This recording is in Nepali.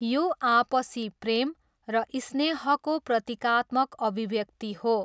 यो आपसी प्रेम र स्नेहको प्रतीकात्मक अभिव्यक्ति हो।